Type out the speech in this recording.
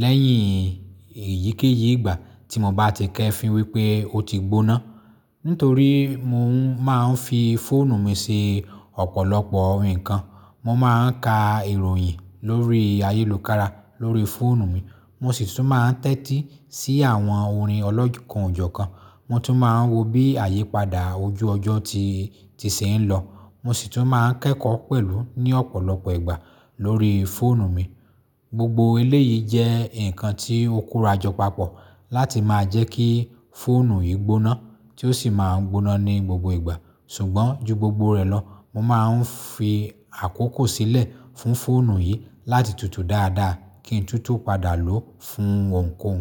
lẹ́yìn èyíkéyìí ìgbà tí mo bá ti kẹ́fì wípé ó ti gbóná. Nítorí mo máa ń fi fóònù mi se ọ̀pọ̀lọpọ̀ nǹkan. Mo máa ń ka ìròyìn lórí ayélòkára lórí fóònù mi, mo sì sún máa ń tẹ́tí sí àwọn orin ọlọ́jọ̀ kan ọ̀jọ̀ kan. Mo tún máa ń wo bí àyípadà ojú ọjọ́ ti, ti se ń lọ. Mo sì tún máa ń kẹ́kọ̀ọ́ pẹ̀lú ní ọ̀pọ̀lọpọ̀ ìgbà lórí fóònù mi. Gbogbo eléyìí jẹ́ nǹkan tí ó kóra jọ papọ̀ láti máa jẹ́ kí fóònù yìí gbóná tí ó sì máa ń gbóná ní gbogbo ìgbà. Sùgbọ́n ju gbogbo rẹ̀ lọ, mo máa ń fi àkókò sílẹ̀ fún fóònù yìí láti tutù dáadáa kí n tútù padà lòó fún òunkòun.